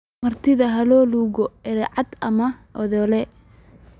martidha ha loo loge aricad ama idhaley